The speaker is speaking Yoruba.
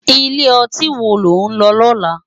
Ilé òtín wó ló n lò lòlá?